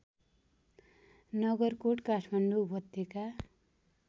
नगरकोट काठमाडौँ उपत्यका